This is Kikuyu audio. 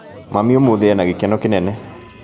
Mami ũmũthĩ ena gĩkeno kĩnene